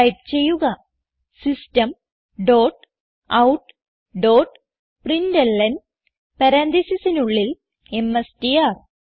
type ചെയ്യുക system dot out dot println പരാൻതീസിസിനുള്ളിൽ എംഎസ്ടിആർ